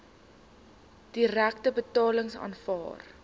direkte betalings aanvaar